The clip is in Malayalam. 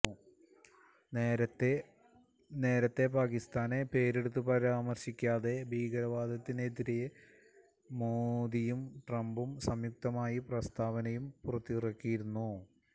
നേരത്തെ പാകിസ്താനെ പേരെടുത്ത് പരാമര്ശിക്കാതെ ഭീകരവാദത്തിനെതിരെ മോദിയും ട്രംപും സംയുക്തമായി പ്രസ്താവനയും പുറത്തിറക്കിയിരുന്നു